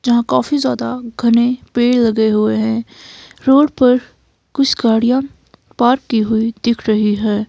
जहां काफी ज्यादा घने पेड़ लगे हुए हैं रोड पर कुछ गाड़ियां पार्क की हुई दिख रही है।